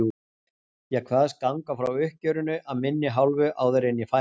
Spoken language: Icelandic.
Ég kvaðst ganga frá uppgjörinu af minni hálfu áður en ég færi.